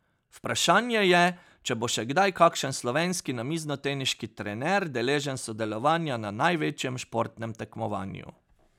Vprašanje je, če bo še kdaj kakšen slovenski namiznoteniški trener deležen sodelovanja na največjem športnem tekmovanju.